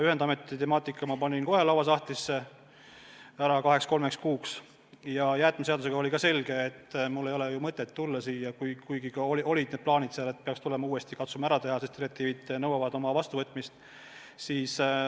Ühendameti temaatika ma panin kohe lauasahtlisse kaheks-kolmeks kuuks ära ja jäätmeseaduse puhul oli ka selge, et mul ei ole mõtet siia saali tulla, kuigi olid plaanid, et peaks tulema uuesti ja katsuma asja ära teha, sest direktiivid nõuavad vastuvõtmist.